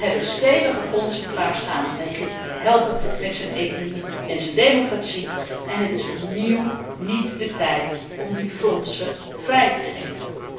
We hebben stevige fondsen klaar staan om Egypte te helpen met zijn economie en zijn democratie, en het is opnieuw niet de tijd om die fondsen vrij te geven.